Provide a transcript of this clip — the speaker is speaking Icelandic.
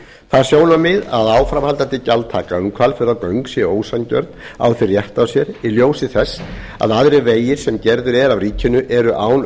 það sjónarmið að áframhaldandi gjaldtaka um hvalfjarðargöng sé ósanngjörn á því rétt á sér í ljósi þess að aðrir vegir sem gerðir eru af ríkinu eru án